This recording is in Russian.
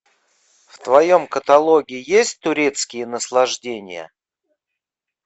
в твоем каталоге есть турецкие наслаждения